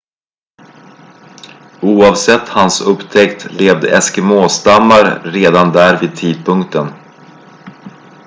oavsett hans upptäckt levde eskimå-stammar redan där vid tidpunkten